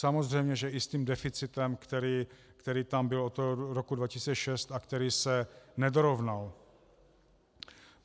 Samozřejmě že i s tím deficitem, který tam byl od roku 2006 a který se nedorovnal.